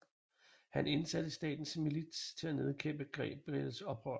Han indsatte statens milits til at nedkæmpe Gabriels oprør